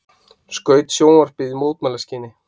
Skaut sjónvarpið í mótmælaskyni